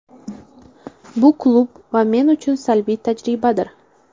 Bu klub va men uchun salbiy tajribadir.